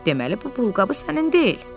deməli bu pulqabı sənin deyil.